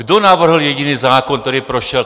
Kdo navrhl jediný zákon, který prošel?